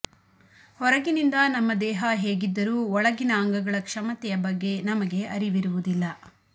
ಹೊರಗಿನಿಂದ ನಮ್ಮ ದೇಹ ಹೇಗಿದ್ದರು ಒಳಗಿನ ಅಂಗಗಳ ಕ್ಷಮತೆಯ ಬಗ್ಗೆ ನಮಗೆ ಅರಿವಿರುವುದಿಲ್ಲ